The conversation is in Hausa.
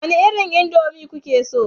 Wani irin indomie kuke so